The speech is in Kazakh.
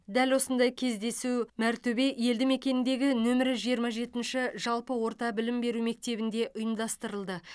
дәл осындай кездесу мәртөбе елдімекеніндегі нөмірі жиырма жетінші жалпы орта білім беру мектебінде ұйымдастырылды